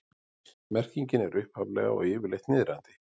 Merkingin er upphaflega og yfirleitt niðrandi.